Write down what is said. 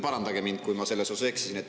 Parandage mind, kui ma selles osas eksisin.